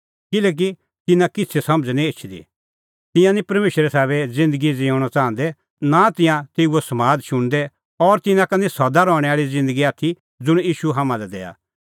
किल्हैकि तिन्नां निं किछ़ै समझ़ एछदी तिंयां निं परमेशरे साबै ज़िन्दगी ज़िऊंणअ च़ाहंदै नां तिंयां निं तेऊओ समाद शुणदै और तिन्नां का निं सदा रहणैं आल़ी ज़िन्दगी आथी ज़ुंण ईशू हाम्हां लै दैआ